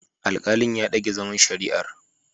Alkalin ya dage zaman shari'an.